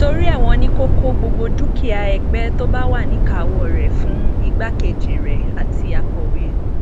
torí ẹ wọn ní kó kọ gbogbo dúkìá ẹgbẹ tó bá wà níkàáwọ rẹ fún igbákejì rẹ àti akọwé